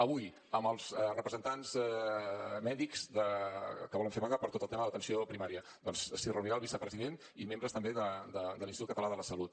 avui amb els representants mèdics que volen fer vaga per tot el tema de l’atenció primària doncs s’hi reunirà el vicepresident i membres també de l’institut català de la salut